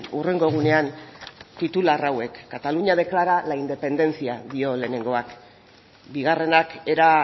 hurrengo egunean titular hauek cataluña declara la independencia dio lehenengoak bigarrenak era